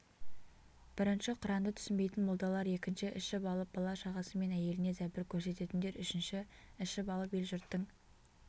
бірінші құранды түсінбейтін молдалар екінші ішіп алып бала-шағасы мен әйеліне зәбір көрсететіндер үшінші ішіп алып ел-жұрттың